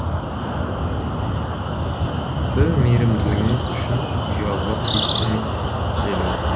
сіз мейрімділігіңіз үшін ұялуға тиісті емессіз деді ол